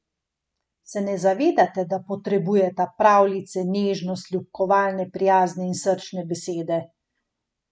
Se ne zavedate, da potrebujeta pravljice, nežnost, ljubkovalne, prijazne in srčne besede?